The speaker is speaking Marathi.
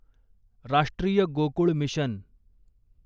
राष्ट्रीय गोकुळ मिशन